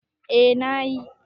A na yi